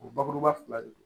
O bakuruba fila de don